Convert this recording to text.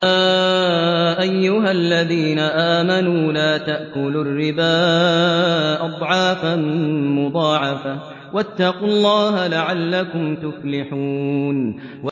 يَا أَيُّهَا الَّذِينَ آمَنُوا لَا تَأْكُلُوا الرِّبَا أَضْعَافًا مُّضَاعَفَةً ۖ وَاتَّقُوا اللَّهَ لَعَلَّكُمْ تُفْلِحُونَ